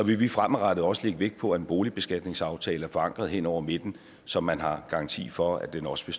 vi vi fremadrettet også lægge vægt på at en boligbeskatningsaftale er forankret hen over midten så man har garanti for at den også